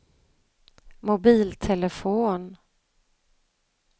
mobiltelefon